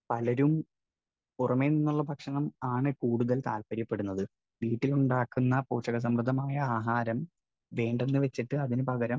Speaker 1 പലരും പുറമെനിന്നുള്ള ഭക്ഷണം ആണ് കൂടുതൽ താൽപ്പര്യപ്പെടുന്നത്. വീട്ടിലുണ്ടാക്കുന്ന പോഷകസമൃദ്ധമായ ആഹാരം വേണ്ടന്നുവച്ചിട്ട് അതിനുപകരം